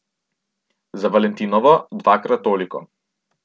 Za valentinovo dvakrat toliko.